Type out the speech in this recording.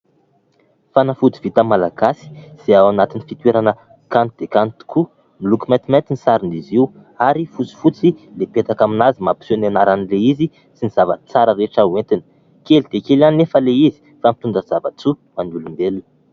Fanafody vita malagasy izay ao anatin'ny fitoerana kanto dia kanto tokoa, miloko maintimainty ny saron'izy io ary fotsifotsy mipetaka amin'azy mampiseho ny anaran'ilay izy sy ny zavatra tsara rehetra ho entiny. Kely dia kely ihany anefa ilay izy fa mitonda zava-tsoa ho an'ny olombelona.